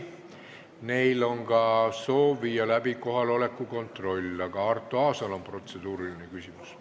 Neil on soov viia läbi ka kohaloleku kontroll, aga Arto Aasal on protseduuriline küsimus.